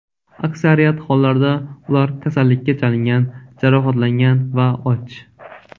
Aksariyat hollarda ular kasallikka chalingan, jarohatlangan va och.